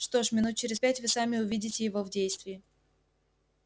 что ж минут через пять вы сами увидите его в действии